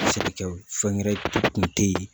Sɛnɛkɛw fɛnwɛrɛnw kun te yen